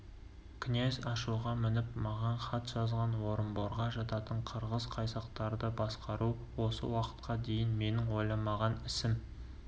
князь ашуға мініп маған хат жазған орынборға жататын қырғыз-қайсақтарды басқару осы уақытқа дейін менің ойламаған ісім